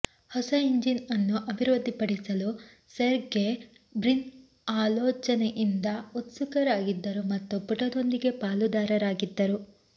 ಹೊಸ ಇಂಜಿನ್ ಅನ್ನು ಅಭಿವೃದ್ಧಿಪಡಿಸಲು ಸೆರ್ಗೆ ಬ್ರಿನ್ ಆಲೋಚನೆಯಿಂದ ಉತ್ಸುಕರಾಗಿದ್ದರು ಮತ್ತು ಪುಟದೊಂದಿಗೆ ಪಾಲುದಾರರಾಗಿದ್ದರು